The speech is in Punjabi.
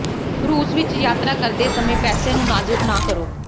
ਰੂਸ ਵਿਚ ਯਾਤਰਾ ਕਰਦੇ ਸਮੇਂ ਪੈਸੇ ਨੂੰ ਨਾਜ਼ੁਕ ਨਾ ਕਰੋ